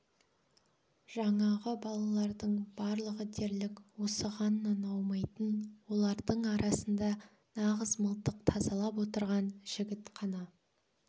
жаңағы балалардың барлығы дерлік осығаннан аумайды олардың арасында нағыз мылтық тазалап отырған жігіт қана